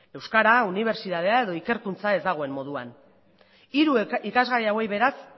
euskara unibertsitatea edo ikerkuntza ez dagoena moduan hiru ikasgai hauei beraz